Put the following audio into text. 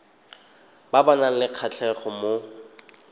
ba nang le kgatlhego mo